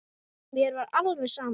Mér var alveg sama.